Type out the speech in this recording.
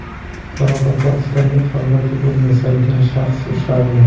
Qoraqalpog‘istonda qalbaki pul yasagan shaxs ushlandi.